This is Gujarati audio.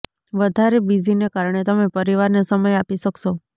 વધારે બીઝીને કારણે તમે પરિવારને સમય આપી શકશો